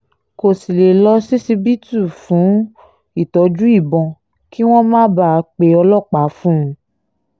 kò sì lè lọ ṣíṣíbítù fún ìtọ́jú ìbọn kí wọ́n má bàa pe ọlọ́pàá fún un